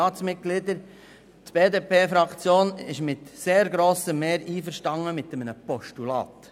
Die BDP-Fraktion ist mit sehr grossem Mehr einverstanden mit einem Postulat.